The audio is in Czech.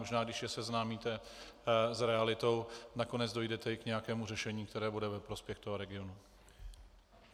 Možná když je seznámíte s realitou, nakonec dojdete i k nějakému řešení, které bude ve prospěch toho regionu.